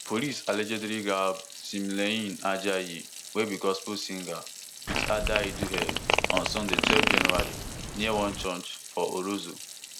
police allegedly gbab timileyin ajayi wey be gospel singer wit adaidu head on sunday twelve january near one church for orozo